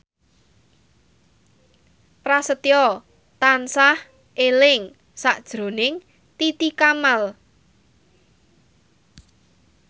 Prasetyo tansah eling sakjroning Titi Kamal